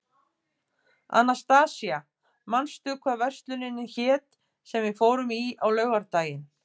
Anastasía, manstu hvað verslunin hét sem við fórum í á laugardaginn?